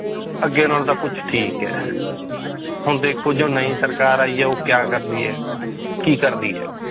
ਅੱਗੇ ਨਾਲੋਂ ਤਾਂ ਕੁਛ ਠੀਕ ਹੈ ਹੁਣ ਦੇਖੋ ਜੋ ਨਈਂ ਸਰਕਾਰ ਆਈ ਹੈ ਉਹ ਕਿਆ ਕਰਦੀ ਹੈ ਕੀ ਕਰਦੀ ਹੈ।